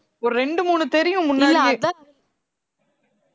ஒரு ரெண்டு மூணு தெரியும் முன்னாடியே